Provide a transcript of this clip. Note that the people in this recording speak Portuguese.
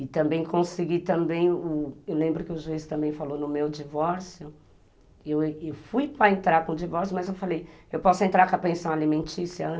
E também consegui também, eu lembro que o juiz também falou no meu divórcio, eu fui para entrar para o divórcio, mas eu falei, eu posso entrar com a pensão alimentícia antes?